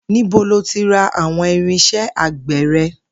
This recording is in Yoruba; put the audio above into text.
Níbo lo ti ra àwo̩n irins̩é̩ àgbè̩ re̩?